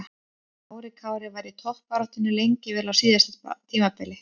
Kári Kári var í toppbaráttunni lengi vel á síðasta tímabili.